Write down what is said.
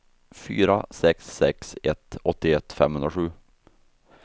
fyra sex sex ett åttioett femhundrasju